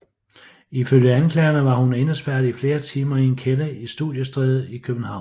Ifølge anklagerne var hun indespærret i flere timer i en kælder i Studiestræde i København